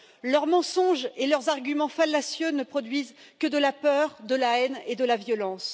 Leurs mensonges et leurs arguments fallacieux ne produisent que de la peur, de la haine et de la violence.